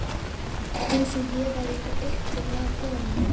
Eins og ég væri eitthvað upptekin af honum.